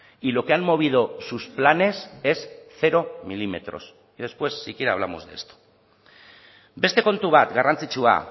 y lo que han movido sus planes es cero milímetros y después si quiere hablamos de esto beste kontu bat garrantzitsua